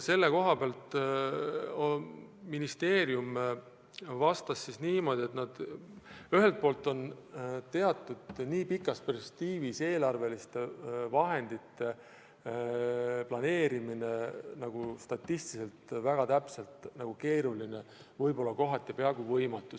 Ministeerium vastas niimoodi, et nii pikas perspektiivis eelarve vahendite täpne planeerimine on keeruline, kohati peaaegu võimatu.